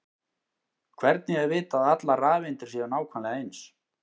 hvernig er vitað að allar rafeindir séu nákvæmlega eins